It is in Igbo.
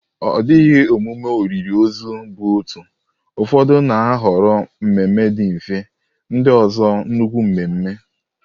Ọ dịghị emume olili ozu bụ otu, ụfọdụ na-ahọrọ mmemme dị mfe, ndị ọzọ nnukwu mmemme.